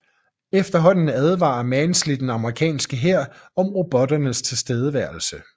Efterhånden advarer Mansley den amerikanske hær om robottens tilstedeværelse